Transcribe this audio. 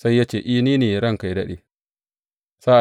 Sai ya ce, I, ni ne, ranka yă daɗe.